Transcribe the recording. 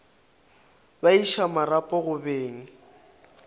ba iša marapo go beng